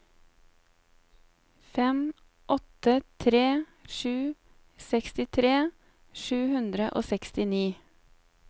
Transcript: fem åtte tre sju sekstitre sju hundre og sekstini